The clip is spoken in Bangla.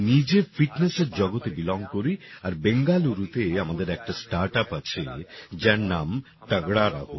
আমি নিজে fitnessএর জগতে বেলং করি আর বেঙ্গালুরুতে আমাদের একটা স্টার্টআপ আছে যার নাম তাগড়া রহো